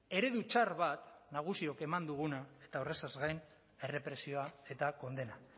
eredu txar bat nagusiok eman duguna eta horrezaz gain errepresioa eta kondena